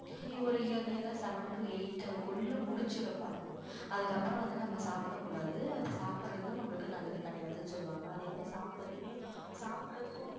ஒரு earlier ah seven to eight குள்ள முடிச்சுற பாக்கணும் அதுக்கப்புறம் வந்து நம்ம சாப்பிடக்கூடாது அது சாப்பிடறதும் நம்மளுக்கு நல்லது கிடையாதுன்னு சொல்லுவாங்க அதே மாதிரி சாப்பிட்டதுமே சாப்பிடறதுக்கும்